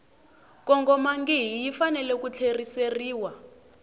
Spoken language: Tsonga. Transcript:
kongomangihi yi fanele ku tlheriseriwa